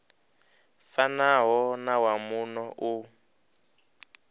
fanaho na wa muno u